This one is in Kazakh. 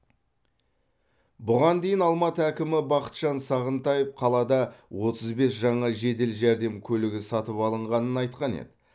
бұған дейін алматы әкімі бақытжан сағынтаев қалада отыз бес жаңа жедел жәрдем көлігі сатып алынғанын айтқан еді